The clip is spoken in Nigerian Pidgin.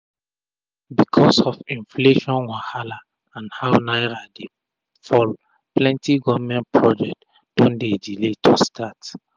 becos of inflation wahala and how naira dey fall plenti government project don dey delay to start